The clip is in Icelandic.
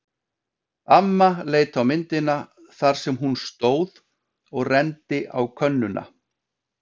Amma leit á myndina þar sem hún stóð og renndi á könnuna.